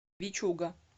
вичуга